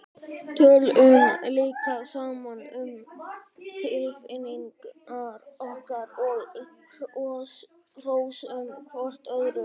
Tölum líka saman um tilfinningar okkar og hrósum hvort öðru.